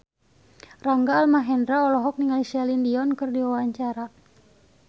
Rangga Almahendra olohok ningali Celine Dion keur diwawancara